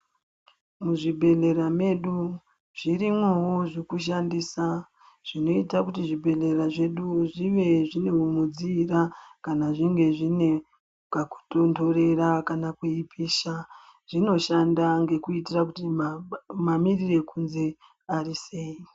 Muzvibhedhlera medu zvirimwo zvekushandisa zvinoita kuti zvibhedhlera zvedu zvive zvine mukudziira kana zvive kakutonhorera kana kweipisha zvinoshanda ngekuitira kuti mamirire ekunze ari sei.